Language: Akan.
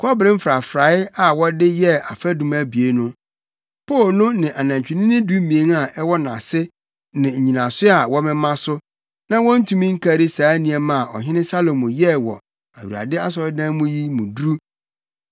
Kɔbere mfrafrae a wɔde yɛɛ afadum abien no, Po no ne anantwinini dumien a ɛwɔ nʼase ne nnyinaso a wɔmema so, na wontumi nkari saa nneɛma a Ɔhene Salomo yɛɛ wɔ Awurade asɔredan mu yi mu duru.